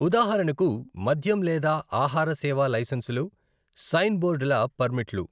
ఉదాహరణకు మద్యం లేదా ఆహార సేవా లైసెన్సులు, సైన్ బోరర్డుల పర్మిట్లు.